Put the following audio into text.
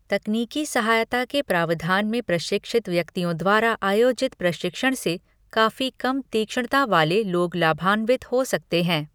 तकनीकी सहायता के प्रावधान में प्रशिक्षित व्यक्तियों द्वारा आयोजित प्रशिक्षण से काफी कम तीक्ष्णता वाले लोग लाभान्वित हो सकते हैं।